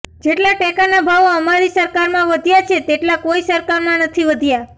જેટલા ટેકાના ભાવ અમારી સરકારમાં વધ્યા છે તેટલા કોઈ સરકારમાં નથી વધ્યા